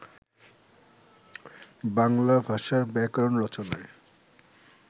বাংলা ভাষার ব্যাকরণ রচনায়